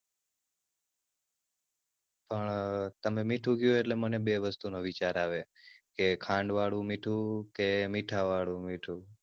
પણ તમે મીઠું ક્યો અટલે મને બે વસ્તુ નો વિચાર આવે કે ખાંડ વાળું મીઠું કે મીઠા વાળું મીઠું?